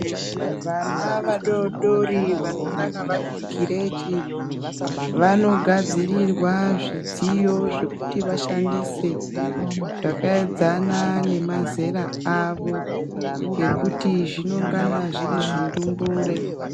Vana vadodori vanongana vari kukireshi, vanogadzirirwa zvidziyo zvekuti vashandise zvakaedzana nemazera awo ekuti zvinongana zviri zvindumure.